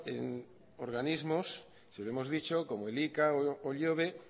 en organismos se lo hemos dicho como el ika o ihobe